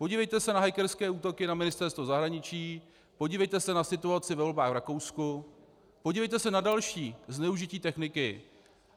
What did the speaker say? Podívejte se na hackerské útoky na Ministerstvo zahraničí, podívejte se na situaci ve volbách v Rakousku, podívejte se na další zneužití techniky.